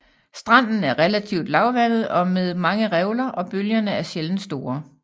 Stranden er relativt lavvande og med mange revler og bølgerne er sjældent store